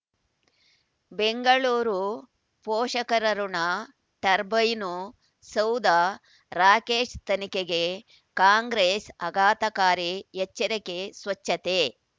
ಬೆಂಗಳೂರು ಪೋಷಕರಋಣ ಟರ್ಬೈನು ಸೌಧ ರಾಕೇಶ್ ತನಿಖೆಗೆ ಕಾಂಗ್ರೆಸ್ ಆಘಾತಕಾರಿ ಎಚ್ಚರಿಕೆ ಸ್ವಚ್ಛತೆ